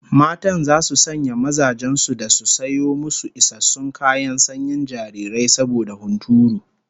Matan zasu sanya mazajen su da su sayo musu isassun kayan sanyin jarirai saboda hunturu